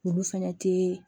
Olu fɛnɛ tee